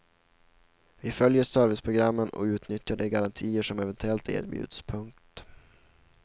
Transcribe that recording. Vi följer serviceprogrammen och utnyttjar de garantier som eventuellt erbjuds. punkt